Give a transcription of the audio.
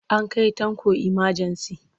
An kai Tanko imajensi.